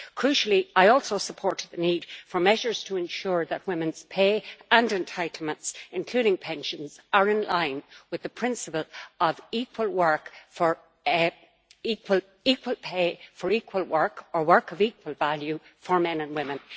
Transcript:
Crucially, I also support the need for measures to ensure that women's pay and entitlements, including pensions, are in line with the principle of equal pay for equal work or work of equal value for men and women.